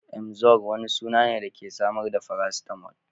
Emzor wani suna ne da ke samar da paracetamol.